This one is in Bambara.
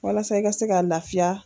Walasa i ka se ka lafiya.